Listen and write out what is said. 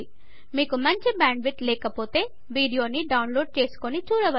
మీకు మంచి bandwidth లేకపోతె వీడియోని డౌన్ లోడ్ చేసుకుని చూడవచ్చు